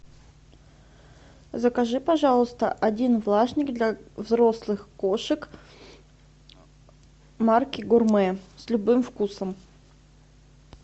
закажи пожалуйста один влажник для взрослых кошек марки гурмэ с любым вкусом